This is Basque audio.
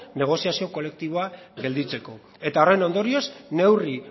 negoziazio kolektiboa gelditzeko eta horren ondorioz neurri